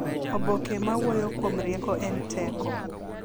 Oboke ma wuoyo kuom rieko en teko .